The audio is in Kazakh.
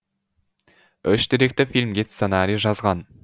үш деректі фильмге сценарий жазған